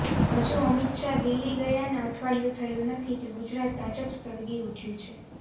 હજુ અમિત શાહ દિલ્હી ગયાને અઠવાડિયું થયું નથી કે ગુજરાત ભાજપ સળગી ઉઠ્યું છે